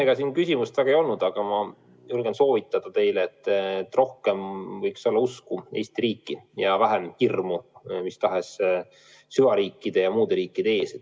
Ega siin küsimust väga ei olnud, aga ma julgen teile soovitada, et rohkem võiks olla usku Eesti riiki ja vähem hirmu mis tahes süvariikide ja muude riikide ees.